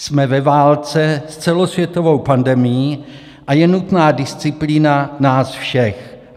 Jsme ve válce s celosvětovou pandemií a je nutná disciplína nás všech.